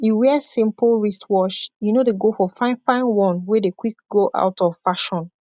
e wear simpol wristwatsh enor dey go for finefine one wey dey kwik go out of fashion